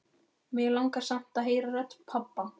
Mig langar samt að heyra rödd pabba.